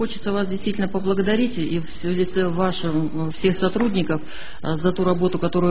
хочется вас действительно поблагодарить и все лицо в вашем всех сотрудников за ту работу